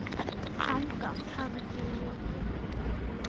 Þangað hafði ég aldrei komið.